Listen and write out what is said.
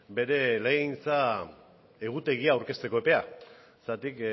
bere legegintza egutegia aurkezteko epea zergatik